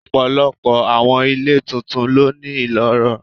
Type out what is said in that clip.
Ọ̀pọ̀lọpọ̀ àwọn ilé tuntun ló ní ìloro.